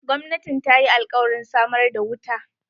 Gwamnatin ta yi alkawarin samar da wuta.